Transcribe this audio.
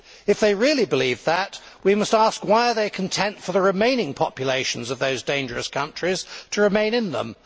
If they really believe that, we must ask why they are content for the remaining populations of those dangerous countries to remain in them.